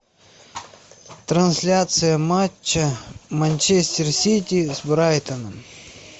трансляция матча манчестер сити с брайтоном